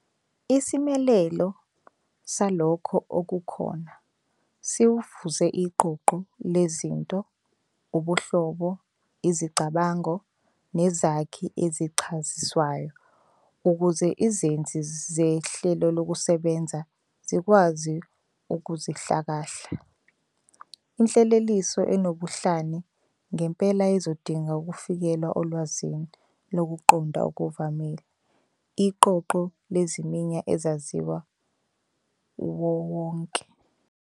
Isimelelo "salokho okukhona" siwufuza - iqoqo lezinto, ubuhlobo, izicabango, nezakhi ezichaziswayo ukuze izenzi zehlelokusebenza zikwazi ukuzihlakahla. Inhleleliso enobuhlani ngempela izodinga ukufikelela olwazini lokuqonda okuvamile, iqoqo leziminya ezaziwa uwonkewonke.